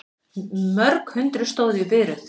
Mörg hundruð stóðu í biðröð